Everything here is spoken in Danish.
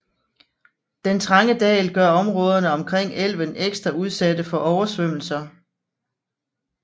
Den trange dal gør områderne omkring elven ekstra udsatte for oversvømmelser